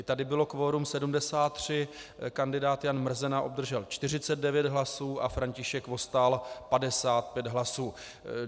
I tady bylo kvorum 73, kandidát Jan Mrzena obdržel 49 hlasů a František Vostál 55 hlasů.